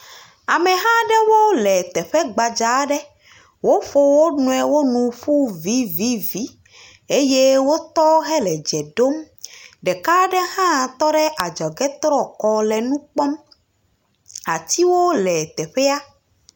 Ameha aɖewo le teƒe gbadza aɖe. Woƒo wonuiwo nu ƒu vivivi eye wotɔ hele dze ɖom. Ɖeka aɖe hã tɔ ɖe adzɔge trɔ kɔ le nu kpɔm. Atiwo le teƒea.